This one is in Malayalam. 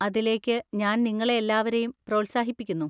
അതിലേക്ക് ഞാൻ നിങ്ങളെ എല്ലാവരെയും പ്രോത്സാഹിപ്പിക്കുന്നു.